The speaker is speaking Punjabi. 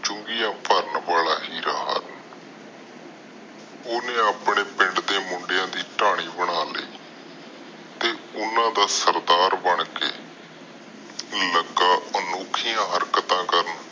ਚੁੰਗੀਆਂ ਭਰਨ ਵਾਲਾ ਹੀਰਾ ਹਨ ਓਹਨੇ ਆਪਣੇ ਪਿੰਡ ਦੇ ਮੁੰਡਿਆਂ ਦੀ ਬਣਾ ਲਾਇ ਤੇ ਓਹਨਾ ਦਾ ਸਰਦਾਰ ਬਣ ਕੇ ਲਗਾ ਅਨੋਖੀਆਂ ਹਰਕਤਾਂ ਕਰਨ